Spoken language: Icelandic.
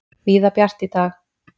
Víða bjart í dag